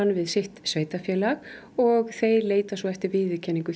við sitt sveitarfélag og þeir leita svo eftir viðurkenningu